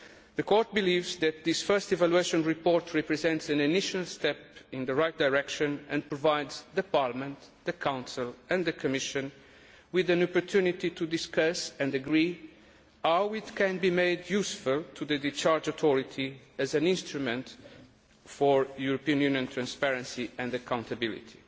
The Court believes that this first evaluation report represents an initial step in the right direction and provides Parliament, the Council and the Commission with an opportunity to discuss and agree how it can be made useful to the discharge authority as an instrument for European Union transparency and accountability.